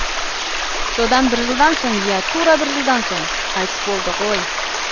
содан бір жылдан соң иә тура бір жылдан соң қайтыс болды ғой